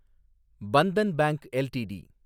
Bandhan bank LTD